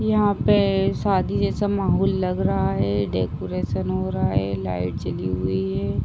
यहाँ पे शादी जैसा माहौल लग रहा है। डेकोरेशन हो रहा है। लाइट जली हुई है।